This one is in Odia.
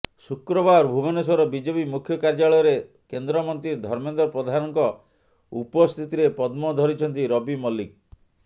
ଶୁକ୍ରବାର ଭୁବନେଶ୍ୱର ବିଜେପି ମୁଖ୍ୟ କାର୍ଯ୍ୟାଳୟରେ କେନ୍ଦ୍ରମନ୍ତ୍ରୀ ଧର୍ମେନ୍ଦ୍ର ପ୍ରଧାନଙ୍କ ଉପସ୍ଥିତିରେ ପଦ୍ମ ଧରିଛନ୍ତି ରବି ମଲ୍ଲିକ